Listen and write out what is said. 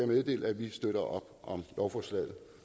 meddele at vi støtter op om lovforslaget